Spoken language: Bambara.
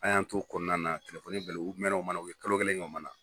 A y'an to o kɔnɔna na telefoni bilala u mɛn o mana na u ye kalo kelen kɛ o mana